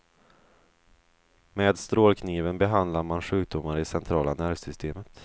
Med strålkniven behandlar man sjukdomar i centrala nervsystemet.